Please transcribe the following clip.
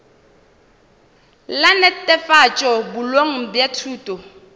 la netefatšo boleng bja thuto